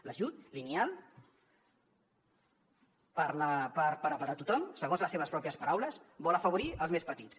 l’ajut lineal per a tothom segons les seves pròpies paraules vol afavorir els més petits